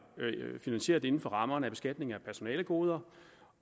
finansieret inden for rammerne af beskatning af personalegoder